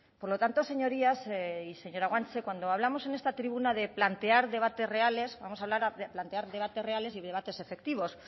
por lo tanto señorías y señora guanche cuando hablamos en esta tribuna de plantear debates reales vamos a hablar de plantear debates reales y debates efectivos